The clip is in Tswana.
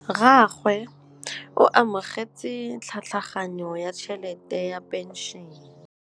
Rragwe o amogetse tlhatlhaganyô ya tšhelête ya phenšene.